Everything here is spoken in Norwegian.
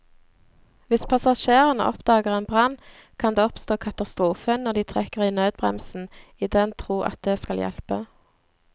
Hvis passasjerene oppdager en brann, kan det oppstå katastrofe når de trekker i nødbremsen i den tro at det skal hjelpe.